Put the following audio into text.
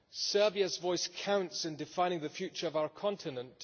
Serbia's voice counts in defining the future of our continent.